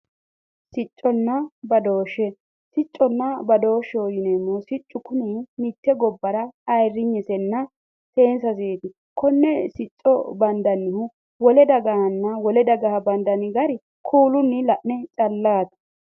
Sicconna badooshshe, siccunna badooshsheho yineemmohu siccu kuni mitte gobbara ayirrinyesenna seenseseeti. Konne sicco bandannihu wole dagahanna wole dagaha bandanni gari kuulunni la'ne callaati.